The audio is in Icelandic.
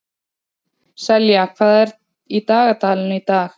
Selja, hvað er í dagatalinu í dag?